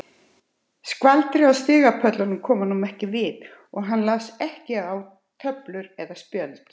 Skvaldrið á stigapöllunum kom honum ekki við og hann las ekki á töflur eða spjöld.